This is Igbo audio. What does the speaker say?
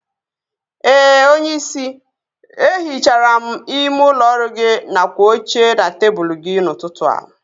Ee onyeisi, e hichara m ime ụlọ ọrụ gị nakwa oche na tebụl gị n'ụtụtụ a